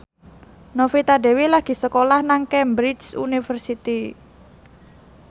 Novita Dewi lagi sekolah nang Cambridge University